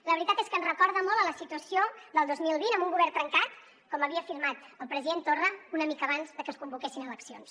la veritat és que ens recorda molt la situació del dos mil vint amb un govern trencat com havia afirmat el president torra una mica abans de que es convoquessin eleccions